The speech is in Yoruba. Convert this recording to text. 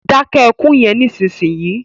Dáké ekún yen nísìsiyìí!